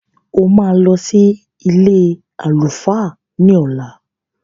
O máa lọ sí ilé àlùfáà ní ọ̀la.